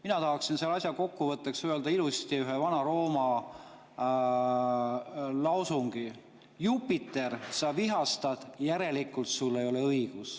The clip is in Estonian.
Mina tahaksin selle asja kokkuvõtteks öelda ilusti ühe Vana-Rooma lausungi: Jupiter, sa vihastad, järelikult sul ei ole õigus.